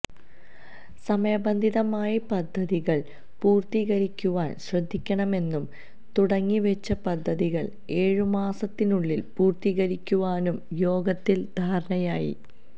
സമയബന്ധിതമായി പദ്ധതികള് പൂര്ത്തിക്കരിക്കുവാന് ശ്രദ്ധിക്കണമെന്നും തുടങ്ങിവെച്ച പദ്ധതികള് ഏഴ് മാസത്തിനുള്ളില് പൂര്ത്തിക്കരിക്കുവാനും യോഗത്തില് ധാരണയായി